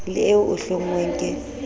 le eo e hlonngweng ke